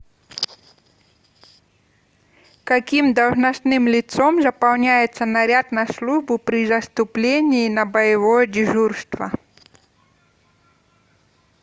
каким должностным лицом заполняется наряд на службу при заступлении на боевое дежурство